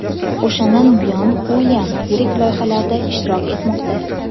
O‘shandan buyon Uilyam yirik loyihalarda ishtirok etmoqda.